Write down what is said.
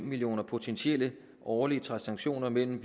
millioner potentielle årlige transaktioner mellem